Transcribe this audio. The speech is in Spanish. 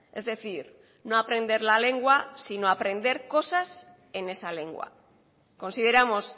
es decir no aprender la lengua sino aprende cosas en esa lengua consideramos